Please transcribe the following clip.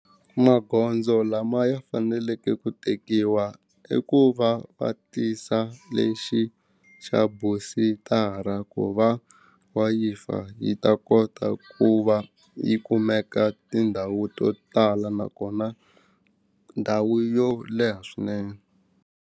Magondzo lama ya faneleke ku tekiwa i ku va va tisa lexi xa ku va wayifa yi ta kota ku va yi kumeka tindhawu to tala nakona ndhawu yo leha swinene.